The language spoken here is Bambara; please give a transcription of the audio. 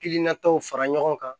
Hakilinataw fara ɲɔgɔn kan